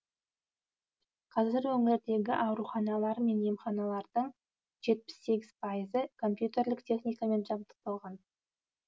қазір өңірдегі ауруханалар мен емханалардың жетпіс сегіз пайызы компьютерлік техникамен жабдықталған